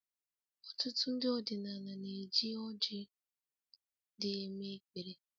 Ọtụtụ ndị ọdịnala na-eji ọrji dị eme-ekpere